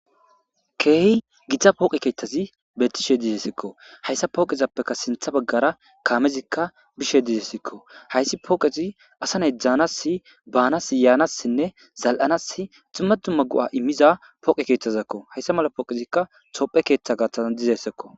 ke'hi gita pooqe keettazi betishshe de'essikko hayssa pooqezappeka siinththa baggara kaamezikka bishshe de'ssikko hayssi pooqezi assa nay danasi baanas yaanassinne zal'anas dumma dumma go'a immiiza pooqe keeththazakko hayssa mala pooqezikka tophphiya keeththa gaththazan dizayssakko